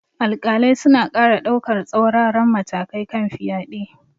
Alƙalai suna ƙara daukar tsauraran matakai kan fyade.